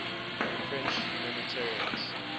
french humanitarians